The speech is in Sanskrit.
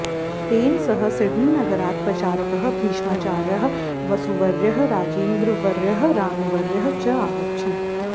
तेन सह सिडनीनगरात् प्रचारकः भीष्माचार्यः वसुवर्यः राजेन्द्रवर्यः रामवर्यः च आगच्छन्